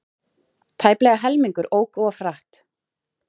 Tæplega helmingur ók of hratt